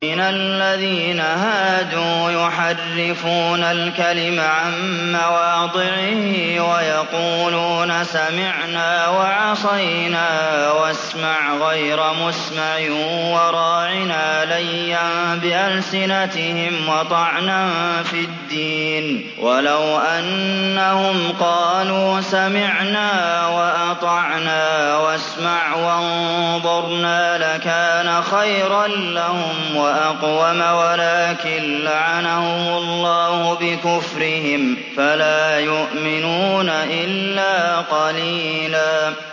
مِّنَ الَّذِينَ هَادُوا يُحَرِّفُونَ الْكَلِمَ عَن مَّوَاضِعِهِ وَيَقُولُونَ سَمِعْنَا وَعَصَيْنَا وَاسْمَعْ غَيْرَ مُسْمَعٍ وَرَاعِنَا لَيًّا بِأَلْسِنَتِهِمْ وَطَعْنًا فِي الدِّينِ ۚ وَلَوْ أَنَّهُمْ قَالُوا سَمِعْنَا وَأَطَعْنَا وَاسْمَعْ وَانظُرْنَا لَكَانَ خَيْرًا لَّهُمْ وَأَقْوَمَ وَلَٰكِن لَّعَنَهُمُ اللَّهُ بِكُفْرِهِمْ فَلَا يُؤْمِنُونَ إِلَّا قَلِيلًا